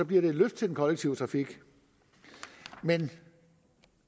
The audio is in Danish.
bliver et løft til den kollektive trafik men